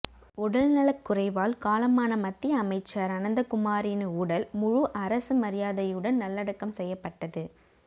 உடல் நலக் குறைவால் காலமான மத்திய அமைச்சர் அனந்தகுமாரின் உடல் முழு அரசு மரியாதையுடன் நல்லடக்கம் செய்யப்பட்டது